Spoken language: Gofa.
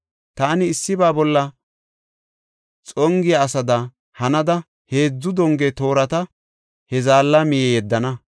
Taani issiba bolla xongiya asada hanada heedzu donge toorata he zaalla miye yeddana.